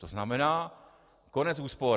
To znamená konec úspor.